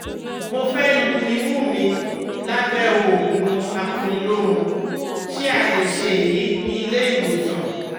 Mo fẹ́ lu imú mi lábẹ́ òògùn akuniloorun, ṣé a lè ṣe èyí ní ilé ìwòsàn?